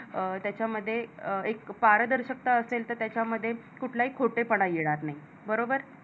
अं त्याच्यामध्ये एक पारदर्शकता असेल तर त्याच्यामध्ये कुठलाही खोटेपणा येणार नाही बरोबर?